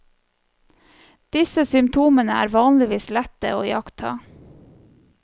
Disse symptomene er vanligvis lette å iaktta.